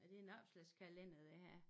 Er det en opslagskalender det her?